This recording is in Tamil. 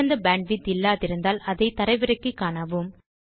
சிறந்த பேண்ட்விட்த் இல்லாதிருந்தால் அதை தரவிறக்கியும் காணலாம்